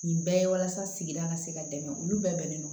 Nin bɛɛ ye walasa sigida ka se ka dɛmɛ olu bɛɛ non